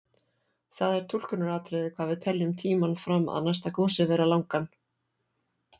Það er túlkunaratriði hvað við teljum tímann fram að næsta gosi vera langan.